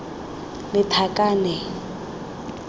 lethakane